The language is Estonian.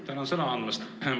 Tänan sõna andmast!